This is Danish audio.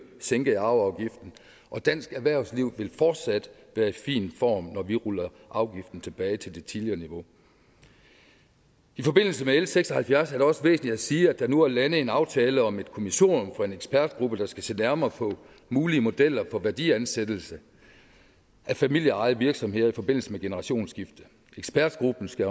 sænkede arveafgiften og dansk erhvervsliv vil fortsat være i fin form når vi ruller afgiften tilbage til det tidligere niveau i forbindelse med l seks og halvfjerds er det også væsentligt at sige at der nu er landet en aftale om et kommissorium for en ekspertgruppe der skal se nærmere på mulige modeller for værdiansættelser af familieejede virksomheder forbindelse med generationsskifte ekspertgruppen skal